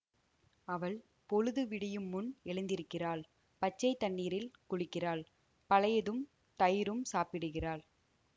அவள் பொழுது விடியுமுன் எழுந்திருக்கிறாள் பச்சை தண்ணீரில் குளிக்கிறாள் பழையதும் தயிரும் சாப்பிடுகிறாள்